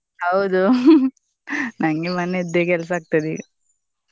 ಹೌದು ನಂಗೆ ಮನೆಯದ್ದೇ ಕೆಲ್ಸ ಆಗ್ತದೆ ಈಗ.